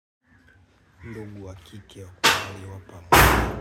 Ndovu wa kike ya kwa hivyo wa palo.